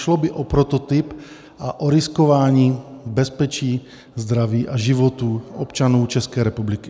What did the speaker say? Šlo by o prototyp a o riskování bezpečí, zdraví a životů občanů České republiky.